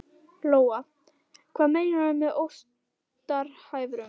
Lóa: Hvað meinarðu með óstarfhæfur?